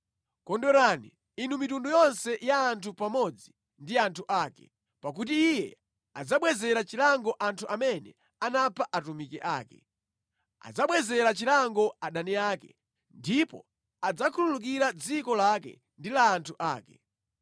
Kondwerani, inu mitundu yonse ya anthu pamodzi ndi anthu ake, pakuti Iye adzabwezera chilango anthu amene anapha atumiki ake; adzabwezera chilango adani ake ndipo adzakhululukira dziko lake ndi la anthu ake.